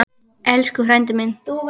Elsku frændi minn.